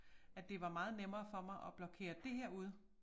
At det var meget nemmere for mig at blokere det her ude